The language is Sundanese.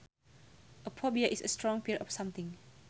A phobia is a strong fear of something